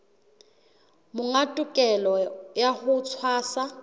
monga tokelo ya ho tshwasa